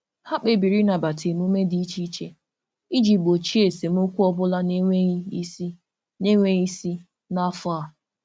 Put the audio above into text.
Ha kpebiri ịnabata emume dị iche iche iji gbochie esemokwu ọ bụla na-enweghị isi na-enweghị isi n'afọ a.